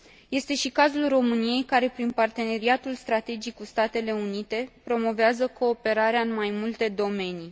Este și cazul României, care prin parteneriatul strategic cu Statele Unite promovează cooperarea în mai multe domenii.